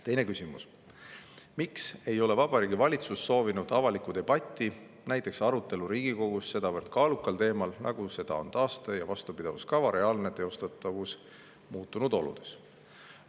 Teine küsimus: "Miks ei ole Vabariigi Valitsus soovinud avalikku debatti – näiteks arutelu Riigikogus – sedavõrd kaalukal teemal nagu seda on taaste- ja vastupidavuskava reaalne teostatavus muutunud oludes?